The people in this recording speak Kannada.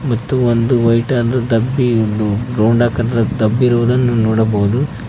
ಮತ್ತು ಒಂದು ವೈಟ್ ಆದ ಡಬ್ಬಿ ಇದ್ದು ರೌಂಡ್ ಆಕಾರದ ಡಬ್ಬಿ ಇರುವುದನ್ನು ನೋಡಬಹುದು.